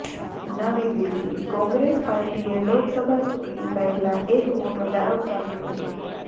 નવી દિલ્હીઃ કોંગ્રેસ પાર્ટીએ લોકસભા ચૂંટણી પહેલા એક મોટો દાવ ચાલ્યો છે